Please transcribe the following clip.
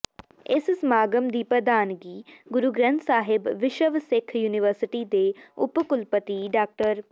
ਇਸ ਸਮਾਗਮ ਦੀ ਪ੍ਰਧਾਨਗੀ ਗੁਰੂ ਗ੍ਰੰਥ ਸਾਹਿਬ ਵਿਸ਼ਵ ਸਿੱਖ ਯੂਨੀਵਰਸਿਟੀ ਦੇ ਉਪ ਕੁਲਪਤੀ ਡਾ